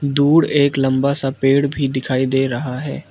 दूर एक लंबा सा पेड़ भी दिखाई दे रहा है।